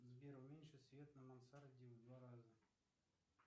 сбер уменьши свет на мансарде в два раза